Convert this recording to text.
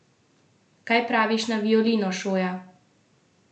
Kaj praviš na violino, Šoja?